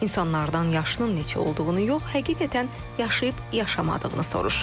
İnsanlardan yaşının neçə olduğunu yox, həqiqətən yaşayıb-yaşamadığını soruşur.